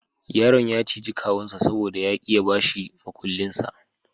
Yaron ya ciji kawunsa saboda ya ki ya bashi mukullinsa.